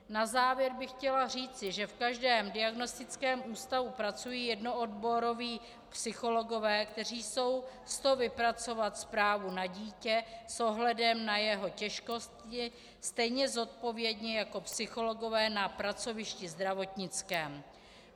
Na závěr bych chtěla říci, že v každém diagnostickém ústavu pracují jednooboroví psychologové, kteří jsou s to vypracovat zprávu na dítě s ohledem na jeho těžkosti stejně zodpovědně jako psychologové na pracovišti zdravotnickém.